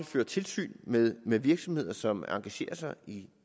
føre tilsyn med med virksomheder som engagerer sig i